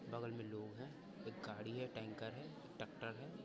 बगल मे लोग हैं एक गाड़ी हैं टैंकर हैं टकटर है।